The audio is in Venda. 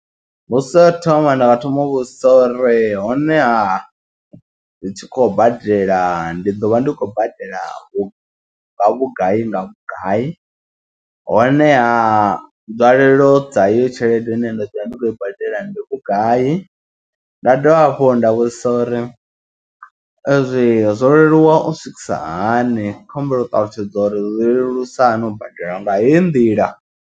Mbudziso yo thoma ndi nga thoma u vhudzisa uri honeha ri tshi khou badela ndi ḓo vha ndi khou badela vhugai nga vhugai honeha nzwalelo dza hayi tshelede ine nda ḓovha ndi khou i badela ndi vhugai, nda dovha hafhu nda vhudzisa uri ee zwe zwo leluwa u swikisa hani khohumbela u ṱalutshedza uri lelusa hani u badela nga heyi nḓila.